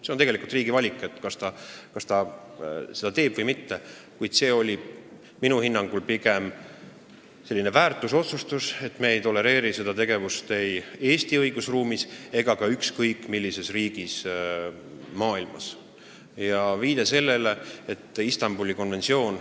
See on tegelikult riigi valik, kas ta seda teeb või mitte, kuid see oli minu hinnangul pigem selline väärtusotsustus, et me ei tolereeri seda tegevust ei Eesti õigusruumis ega ka ükskõik millises riigis maailmas.